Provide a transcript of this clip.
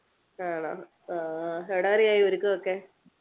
ആണോ ആഹ് എവിടെവരെ ആയി ഒരുക്കമൊക്കെ